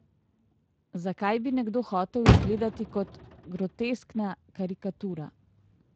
Zakaj bi nekdo hotel izgledati kot groteskna karikatura?